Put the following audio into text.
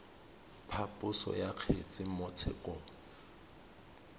phaposo ya kgetse mo tshekong